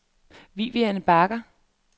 Vivian Bager